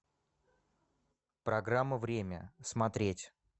программа время смотреть